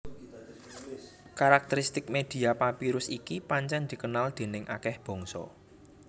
Karakteristik media papirus iki pancèn dikenal déning akèh bangsa